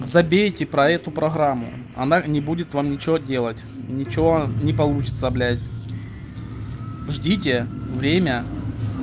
забейте про эту программу она не будет вам нечего делать ничего не получится блять ждите время